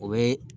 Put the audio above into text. O bɛ